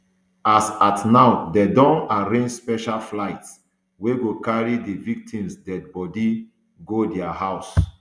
as at now dem don arrange special flights wey go carry di victims deady bodi go dia house